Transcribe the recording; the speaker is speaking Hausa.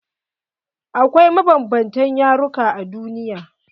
Akwai mabanbanta yaruka a duniya.